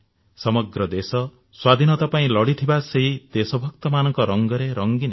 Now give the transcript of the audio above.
ସମଗ୍ର ଦେଶ ସ୍ୱାଧୀନତା ପାଇଁ ଲଢ଼ିଥିବା ସେଇ ଦେଶଭକ୍ତମାନଙ୍କ ରଙ୍ଗରେ ରଙ୍ଗୀନ ହେଉ